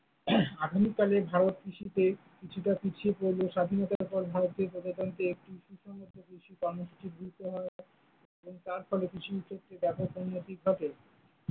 আধুনিক কালে ভারত কৃষিতে কিছুটা পিছিয়ে পড়লেও স্বাধীনতার পর ভারতে প্রজাতন্ত্রে একটু সুষম কৃষি কর্মসূচী গুরুত্ব দেওয়া হয় এবং তার ফলে কৃষি ক্ষেত্র ব্যাপক উন্নতি ঘটে।